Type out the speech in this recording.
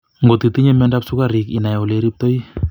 Ngot itinye miondop sukarik inai ole iriptoi